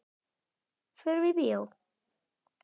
Förum í bíó.